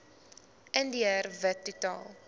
indiër wit totaal